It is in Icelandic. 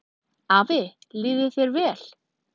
Afi, líði þér vel.